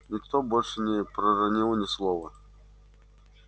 никто больше не проронил ни слова